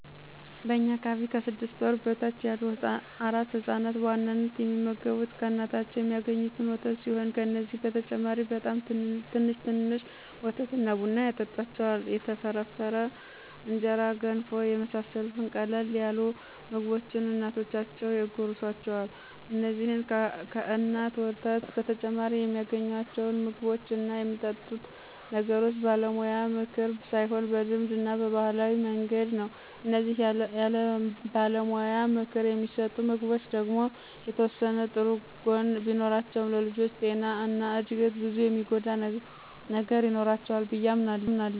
በእኛ አካባቢ ከስድስት ወር በታች ያሉ አራስ ህፃናት በዋናነት የሚመገቡ ከእናታቸው የሚአገኙትን ወተት ሲሆን ከዚህ በተጨማሪ በጣም ትንሽ ትንሽ ወተት እና ቡና ያጠጡአቸዋል፣ የተፈረፈረ እንጀራ፣ ገንፎ የመሳሰሉትን ቀለል ያሉ ምግቦችን እናቶቻቸው ያጎርሱአቸዋል። እንዚህን ከእናት ወተት በተጨማሪ የሚአገኙአቸውን ምግቦች እና የሚጠጡ ነገሮች በባለሙያ ምክር ሳይሆን በልማድ እና በባህላዊ መንገድ ነው። እነዚህ ያለባለሙያ ምክር የሚሰጡ ምግቦች ደግሞ የተወሰነ ጥሩ ጎን ቢኖራቸውም ለልጆቹ ጤና እና እድገት ብዙ የሚጎዳ ነገር ይኖረዋል ብዬ አምናለሁ።